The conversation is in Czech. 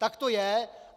Tak to je!